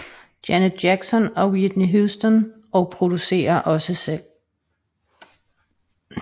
Janet Jackson og Whitney Houston og producerer også selv